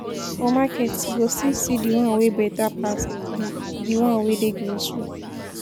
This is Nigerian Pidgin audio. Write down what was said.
For market, you go still see de one wey better pass de de one wey dey grocery.